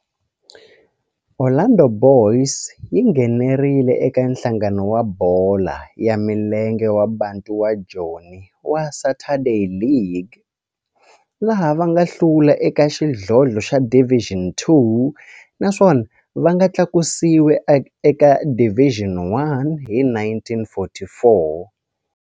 Orlando Boys yi nghenelerile eka Nhlangano wa Bolo ya Milenge wa Bantu wa Joni wa Saturday League, laha va nga hlula eka xidlodlo xa Division Two naswona va nga tlakusiwa eka Division One hi 1944.